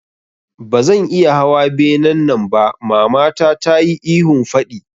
Bazan iya hawa benen nan ba mamata tayi ihun faɗi